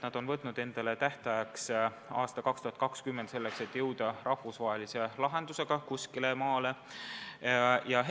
Nad on võtnud endale tähtajaks, et aastaks 2020 jõutakse rahvusvahelise lahendusega kuskile välja.